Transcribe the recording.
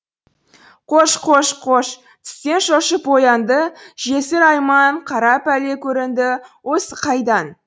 қош қош қош түстен шошып оянды жесір айман қара пәле көрінді осы қайдан